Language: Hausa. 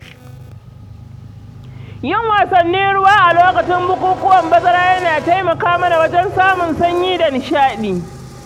Yin wasannin ruwa a lokacin bukukuwan bazara yana taimaka mana wajen samun sanyi da nishaɗi.